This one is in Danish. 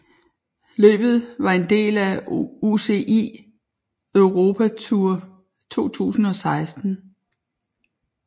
Løbet var en del af UCI Europa Tour 2016